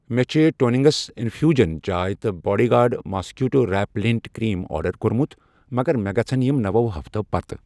مےٚ چھ ٹُونِنٛگسَ انفیوٗجن چاے تہٕ bodyguard mosquito repellent cream order کوٚرمُت مگر مےٚ گژھن یِم نوو ہفتو پتہٕ۔